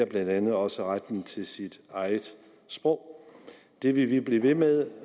blandt andet også retten til sit eget sprog det vil vi blive ved med